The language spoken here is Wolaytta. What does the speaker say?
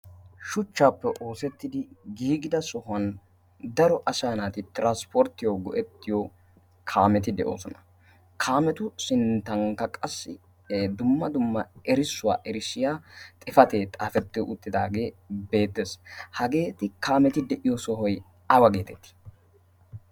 shuchchaappe oosettidi giigida sohuwan daro ashaa naati tiranspporttiyo go'ettiyo kaameti de'oosona. kaametu sinttankka qassi dumma dumma erissuwaa erishshiya xifatee xaafettio uttidaagee beettees hageeti kaameti de'iyo sohoi aawa geetettii?